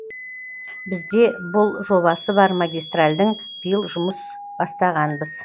бізде бұл жобасы бар магистральдің биыл жұмыс бастағанбыз